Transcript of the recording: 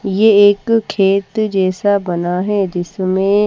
ये एक खेत जैसा बना है जिसमें --